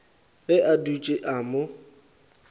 ge a dutše a mo